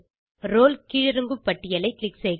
role கீழிறங்கு பட்டியலை click செய்க